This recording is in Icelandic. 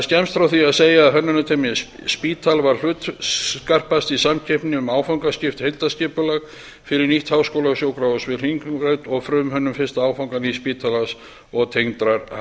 skemmst er frá því að segja að hönnunarteymið spital varð hlutskarpast í samkeppni um áfangaskipt heildarskipulag fyrir nýtt háskólasjúkrahús við hringbraut og frumhönnun fyrsta áfanga nýja spítalans og tengdrar